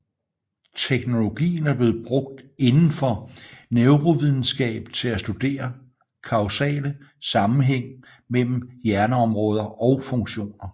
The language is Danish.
Teknologien er blevet brugt inden for neurovidenskab til at studere kausale sammenhæng mellem hjerneområder og funktioner